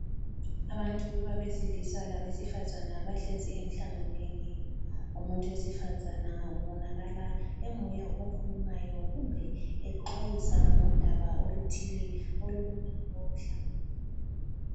Abantu abesilisa labesifazane bahlezi emhlanganweni. Umuntu wesifazana obonakala enguye okhulumayo kumbe exwayisa ngodaba oluthile olumayelana lalomhlangano.